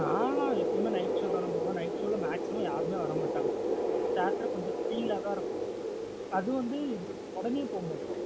நா லாம் எப்போம்மே night show தானா போவோம். night show லா maximum யாருமே வர மாட்டாங்க theatre கொஞ்சம் free யா தான் இருக்கும். அது வந்து உடனே போக மாட்டோம்